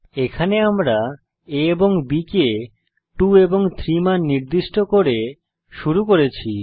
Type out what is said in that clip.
এখানে আমরা a এবং b কে 2 এবং 3 মান নির্দিষ্ট করে শুরু করেছি